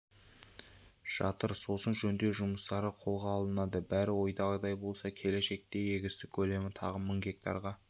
жатыр сосын жөндеу жұмыстары қолға алынады бәрі ойдағыдай болса келешекте егістік көлемі тағы мың гектарға